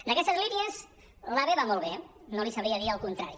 d’aquestes línies l’ave va molt bé no li sabria dir el contrari